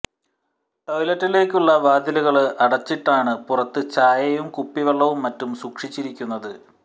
ടോയ്ലറ്റിലേക്കുള്ള വാതിലുകള് അടച്ചിട്ടാണ് പുറത്ത് ചായയും കുപ്പിവെള്ളവും മറ്റും സൂക്ഷിച്ചിരിക്കുന്നത്